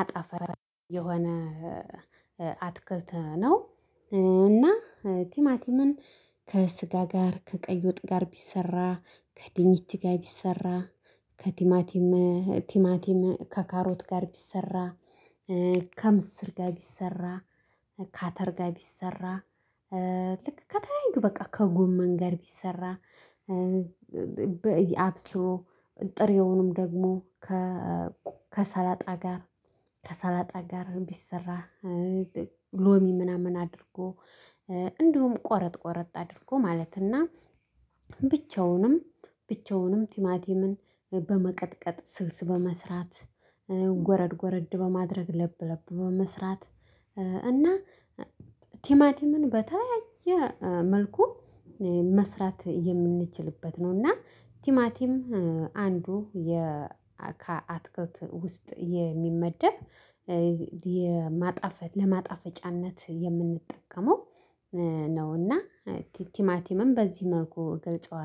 አጠፋጭ የሆነ አትክልት ነው። እና ቲማቲምን ከስጋ ጋር ከቀይ ወጥ ጋር ቢሰራ ከድንች ጋር ቢሰራ ከቲማቲም ቲማቲም ከካሮት ጋር ቢሰራ ከምስር ጋር ቢሰራ ካተር ጋር ቢሰራ ልክ ከተለያዩ በቃ ከጎመን ጋር ቢሰራ። አብስሎ ጥሬውንም ደግሞ ከሰላጣ ጋር ከሰላጣ ጋር ቢሰራ ሎሚ ምናምን አድርጎ እንዲሁም ቆረጥ ቆረጥ አድርጎ ማለትና ብቻውንም ብቻውንም ቲማቲምን በመቀጥቀጥ ስልስ በመስራት ጎረድ ጎረድ በማድረግ ለብ ለብ በመስራት። እና ቲማቲምን በተለያየ መልኩ መስራት የምንችልበት ነው እና ቲማቲም አንዱ የ ከአትክልት ውስጥ የሚመደብ የማጣፈጥ ለማጣፈጫነት የምንጠቀመው ነው። እና ቲማቲምን በዚህ መልኩ ገልጸዋለሁ